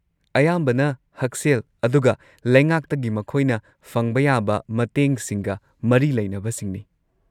ꯑꯌꯥꯝꯕꯅ ꯍꯛꯁꯦꯜ ꯑꯗꯨꯒ ꯂꯩꯉꯥꯛꯇꯒꯤ ꯃꯈꯣꯏꯅ ꯐꯪꯕ ꯌꯥꯕ ꯃꯇꯦꯡ ꯁꯤꯡꯒ ꯃꯔꯤ ꯂꯩꯅꯕꯁꯤꯡꯅꯤ꯫